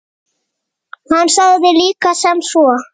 Hann sagði líka sem svo